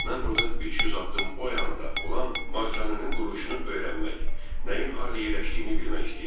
Mən burdan 300 addım o yanda olan malikanənin quruluşunu öyrənmək, nəyin harda yerləşdiyini bilmək istəyirdim.